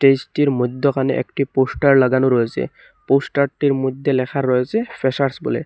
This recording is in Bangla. টেজটির মইদ্যখানে একটি পোস্টার লাগানো রয়েসে পোস্টারটির মইদ্যে লেখা রয়েসে ফেসার্স বলে।